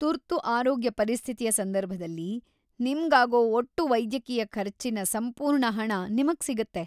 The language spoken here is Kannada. ತುರ್ತು ಆರೋಗ್ಯ ಪರಿಸ್ಥಿತಿಯ ಸಂದರ್ಭದಲ್ಲಿ, ನಿಮ್ಗಾಗೋ ಒಟ್ಟು ವೈದ್ಯಕೀಯ ಖರ್ಚಿನ ಸಂಪೂರ್ಣ ಹಣ ನಿಮ್ಗ್‌ ಸಿಗತ್ತೆ.